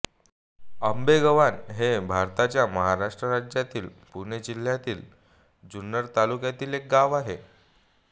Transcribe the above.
आंबेगव्हाण हे भारताच्या महाराष्ट्र राज्यातील पुणे जिल्ह्यातील जुन्नर तालुक्यातील एक गाव आहे